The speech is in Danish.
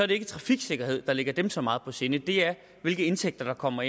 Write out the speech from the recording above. det ikke trafiksikkerhed der ligger dem så meget på sinde det er hvilke indtægter der kommer